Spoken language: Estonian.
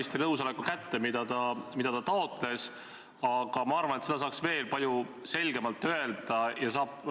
Seda, kui üks või teine pool ei ole kohtu hinnanguga nõus, võib ikka ette tulla ja demokraatlikus riigis ongi normaalne, et kõik ei pea kohtu otsusega nõus olema.